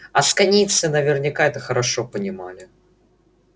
асконийцы наверняка это хорошо понимали